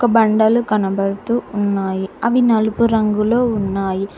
బండలు కనబడుతూ ఉన్నాయి అవి నలుపు రంగులో ఉన్నాయి.